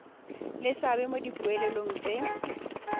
le seabe mo dipoelong tse